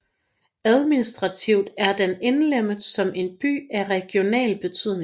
Administrativt er den indlemmet som en by af regional betydning